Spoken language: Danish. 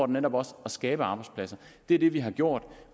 netop også at skabe arbejdspladser det er det vi har gjort